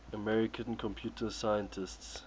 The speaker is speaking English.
american computer scientists